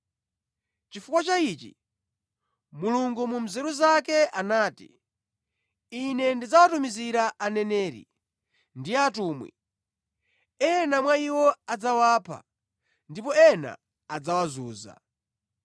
Chifukwa cha ichi, Mulungu mu nzeru zake anati, ‘Ine ndidzawatumizira aneneri ndi atumwi, ena mwa iwo adzawapha ndipo ena adzawazunza.’